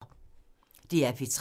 DR P3